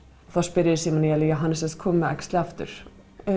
þá spyr ég já hann er sem sagt kominn með æxli aftur